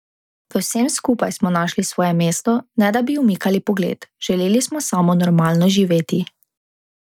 V vsem skupaj smo našli svoje mesto, ne da bi umikali pogled, želeli smo samo normalno živeti.